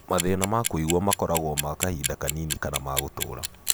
Mathĩna ma kũigua makorago ma kahinda kanini kana ma gũtũũra.